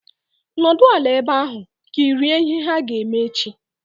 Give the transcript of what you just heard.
Nọdụ ala ebe ahu! Kirie ihe ha ga-eme echi